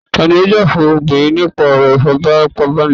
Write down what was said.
tani yóò já fún obirin nipa ọro ifípábánílọpọ?